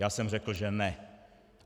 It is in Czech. Já jsem řekl, že ne.